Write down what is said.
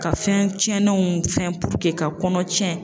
Ka fɛn tiɲɛnenw fɛn ka kɔnɔ tiɲɛn.